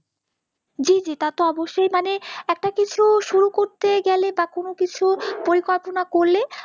জি জি তা তো অবশ্যই মানে একটা কিছু শুরু করতে গেলে বা কোনও কিছু পরিকল্পনা করলে